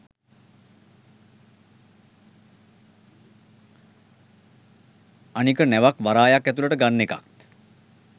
අනික ‍නැවක් වරායක් ඇතුලට ගන්න එකත්